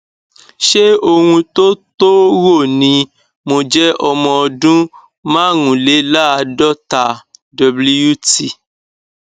ṣé ohun tó tó rò ni mo jẹ ọmọ ọdún márùnléláàádọta wt